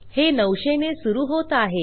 हे 900 ने सुरू होत आहे